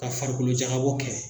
Ka farikolojagabɔ kɛ.